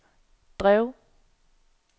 drev